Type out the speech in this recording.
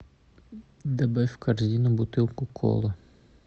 добавь в корзину бутылку колы